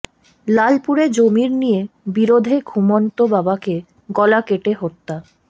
লালপুরে জমির নিয়ে বিরোধে ঘুমন্ত বাবাকে গলা কেটে হত্যা